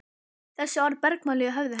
Þessi orð bergmáluðu í höfði hennar.